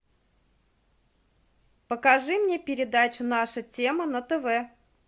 покажи мне передачу наша тема на тв